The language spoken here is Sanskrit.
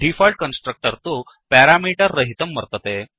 डीफोल्ट् कन्स्ट्रक्टर् तु पेरामीटर् रहितं वर्तते